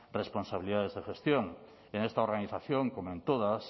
responsabilidades de gestión en esta organización como en todas